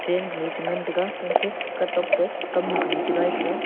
train gunu chengan taiga unche katok ta kamnu kage chingai taiga.